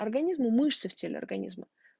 организмы мышцы в теле организма